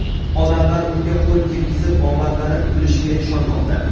Odamlar unga qo‘l tekkizib, omadlari kulishiga ishonmoqda.